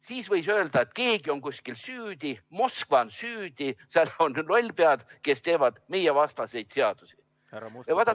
Siis võis öelda, et keegi on kuskil süüdi, Moskva on süüdi, seal on lollpead, kes teevad meievastaseid seadusi.